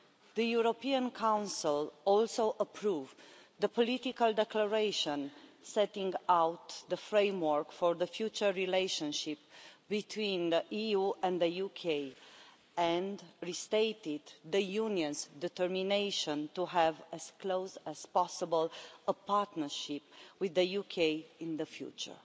The European Council also approved the political declaration setting out the framework for the future relationship between the EU and the UK and restated the Union's determination to have the closest possible partnership with the UK in the future.